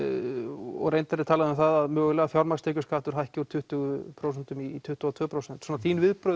og reyndar er talað um það að mögulega fjármagnstekjuskattur hækki úr tuttugu prósent í tuttugu og tvö prósent svona þín viðbrögð